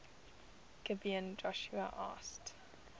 gibeon joshua asked